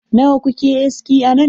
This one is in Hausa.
Nawa kuke aski a nan?